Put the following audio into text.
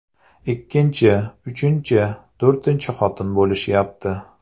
Ikkinchi, uchinchi, to‘rtinchi xotin bo‘lishyapti.